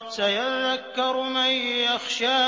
سَيَذَّكَّرُ مَن يَخْشَىٰ